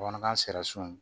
Bamanankan sera sun